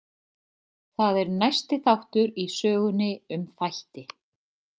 Það er næsti þáttur í sögunni um þætti.